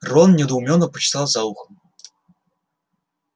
рон недоуменно почесал за ухом